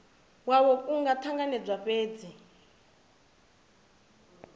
yavho ku nga ṱanganedzwa fhedzi